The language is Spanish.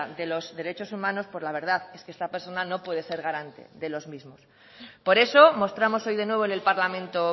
de los derechos humanos pues la verdad es que esta persona no puede ser garante de los mismos por eso mostramos hoy de nuevo en el parlamento